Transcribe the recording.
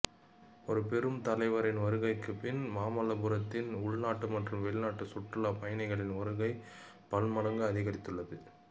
இரு பெரும் தலைவர்களின் வருகைக்கு பின் மாமல்லபுரத்திற்கு உள்நாட்டு மற்றும் வெளிநாட்டு சுற்றுலா பயணிகளின் வருகை பலமடங்கு அதிகரித்துள்ளது